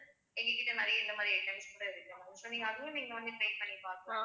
எங்ககிட்ட நிறைய இந்த மாதிரி items கூட இருக்கு ma'am so நீங்க அதுவும் நீங்க வந்து try பண்ணி பார்க்கலாம்